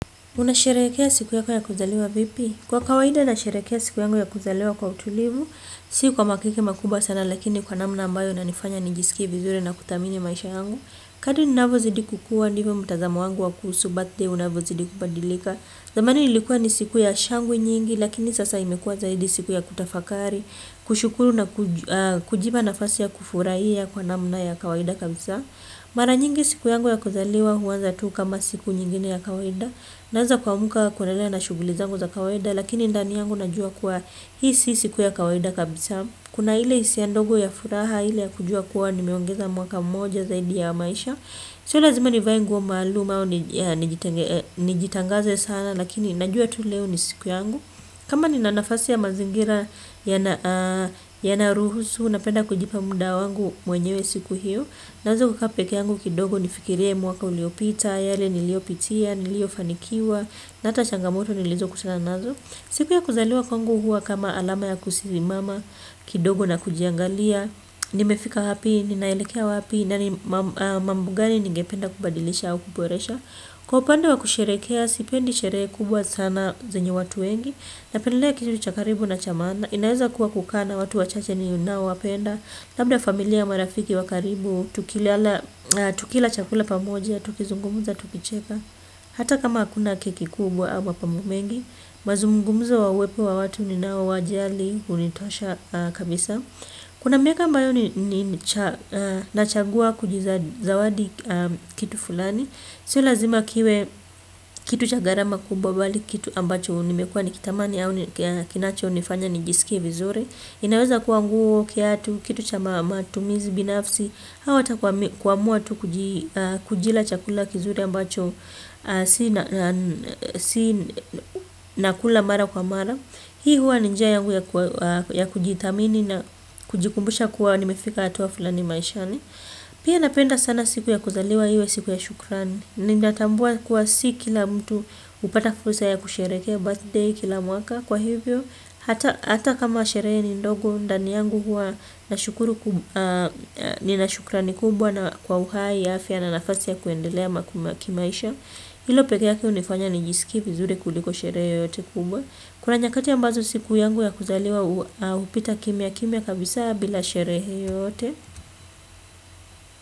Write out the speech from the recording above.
Unasherehekea siku yako ya kuzaliwa vipi? Kwa kawaida na sherehekea siku yangu ya kuzaliwa kwa utulivu. Si kwa makiki makubwa sana lakini kwa namna ambayo inanifanya nijisikie vizuri na kuthamini maisha yangu, kadri ninavo zidi kukua ndivo mtazamo wangu wa kuhusu birthday unavo zidi kubadilika. Zamani ilikuwa ni siku ya shangwe nyingi lakini sasa imekuwa zaidi siku ya kutafakari. Kushukuru na kujipa nafasi ya kufurahia kwa namna ya kawaida kabisa mara nyingi siku yangu ya kuzaliwa huanza tu kama siku nyingine ya kawaida, naeza ku amka kuendelea na shughuli zangu za kawaida lakini ndani yangu najua kuwa hii si siku ya kawaida kabisa. Kuna ile hisia ndogo ya furaha ile ya kujua kuwa nimeongeza mwaka mmoja zaidi ya maisha. Sio lazima nivae nguo maalum au nijitangaze sana lakini najua tu leo ni siku yangu. Kama nina nafasi ya mazingira yanayoruhusu napenda kujipa muda wangu mwenyewe siku hio. Naeza kukaa pekee yangu kidogo nifikilie mwaka uliopita, yale niliopitia, niliyofanikiwa, na hata changamoto nilizo kutana nazo. Siku ya kuzaliwa kwangu huwa kama alama ya kusimama kidogo na kujiangalia, nimefika wapi, ninaelekea wapi, na ni mambo ngani ningependa kubadilisha au kuboresha. Kwa upande wa kusherehekea, sipendi sherehe kubwa sana zenye watu wengi. Na pendelea kitu cha karibu na cha maana, inaeza kuwa kukaa na watu wachache ninao wapenda, labda familia au marafiki wa karibu, tukila chakula pamoja, tukizungumza, tukicheka. Hata kama hakuna keki kubwa ama pamo mengi, mazungumzo wa uwepo wa watu ni nao wajali, hunitosha kabisa. Kuna miaka ambayo ni nachagua kujizawadi kitu fulani, sio lazima kiwe kitu cha gharama kubwa bali kitu ambacho nimekuwa nikitamani au kinacho nifanya nijisikie vizuri. Inaweza kuwa nguo, kiatu, kitu cha matumizi binafsi. Au hata kuamua tu kujila chakula kizuri ambacho si nakula mara kwa mara. Hii huwa ni njia yangu ya kujithamini na kujikumbusha kuwa nimefika hatua fulani maishani. Pia napenda sana siku ya kuzaliwa iwe siku ya shukrani. Ninatambua kuwa si kila mtu hupata fursa ya kusherehekea birthday kila mwaka, kwa hivyo, hata kama sherehe ni ndogo, ndani yangu huwa nina shukrani kubwa na kwa uhai, afya na nafasi ya kuendelea kimaisha. Hilo pekee yake hunifanya ni jisikie vizuri kuliko sherehe yote kubwa. Kuna nyakati ambazo siku yangu ya kuzaliwa hupita kimya kimya kabisa bila sherehe yote.